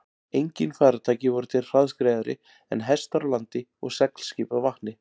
Engin farartæki voru til hraðskreiðari en hestar á landi og seglskip á vatni.